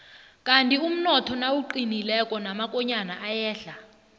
kandi umnotho nawuqinileko namakonyana ayehla